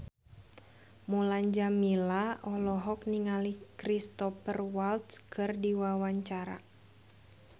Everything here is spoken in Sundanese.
Mulan Jameela olohok ningali Cristhoper Waltz keur diwawancara